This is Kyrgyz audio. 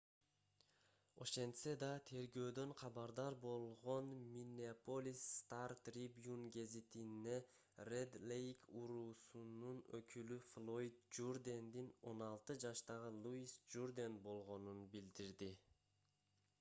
ошентсе да тергөөдөн кабардар болгон булак миннеаполис стар трибюн гезитине ред лейк уруусунун өкүлү флойд журдендин 16 жаштагы луис журден болгонун билдирди